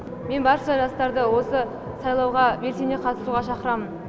мен барша жастарды осы сайлауға белсене қатысуға шақырамын